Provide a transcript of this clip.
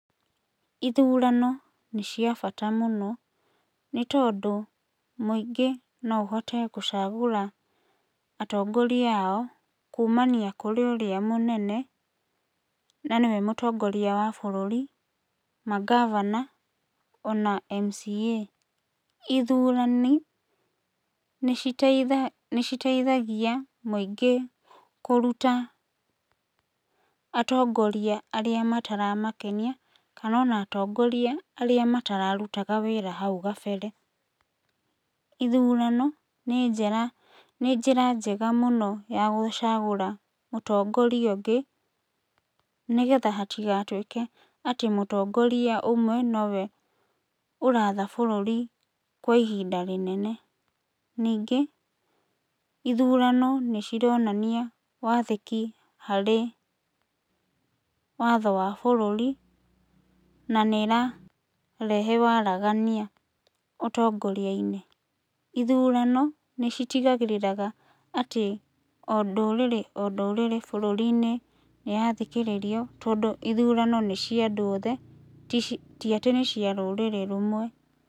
Ithurano nĩ cia bata mũno, nĩ tondũ mũingĩ no ũhote gũcagũra atongoria ao kumania kũrĩ ũrĩa mũnene na nĩwe mũtongoria wa bũrũri, mangabana ona MCA. Ithurani nĩiteitha, nĩciteithagia mũingĩ kũruta atongoria arĩa mataramakenia, kana ona atongoria arĩa matararutaga wĩra hau gabere. Ithurano nĩ njera, nĩ njĩra njega mũno ya gũcagũra mũtongoria ũngĩ, nĩgetha hatigatuĩke atĩ mũtongoria ũmwe nowe ũratha bũrũri kwa ihinda rĩnene. Ningĩ ithurano nĩcironania wathĩkĩ harĩ watho wa bũrũri na nĩrarehe waragania ũtongoria-inĩ. Ithurano nĩcitigagĩrĩraga atĩ o ndũrĩrĩ o ndũrĩrĩ bũrũri-inĩ nĩyathikĩrĩrio, tondũ ithurano nĩ cia andũ othe tici, ti atĩ nĩ cia rũrĩrĩ rũmwe.